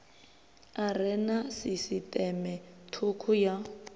are na sisiṱeme thukhu ya